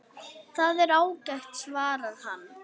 Það er ágætt svarar hann.